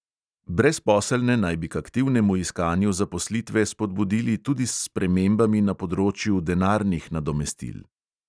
Brezposelne naj bi k aktivnemu iskanju zaposlitve spodbudili tudi s spremembami na področju denarnih nadomestil.